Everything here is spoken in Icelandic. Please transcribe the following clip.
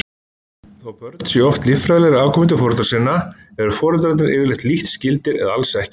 Þó börn séu oft líffræðilegir afkomendur foreldra sinna eru foreldrarnir yfirleitt lítt skyldir eða alls ekki.